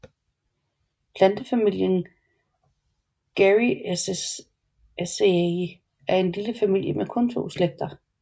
Plantefamilien Garryaceae er en lille familie med kun to slægter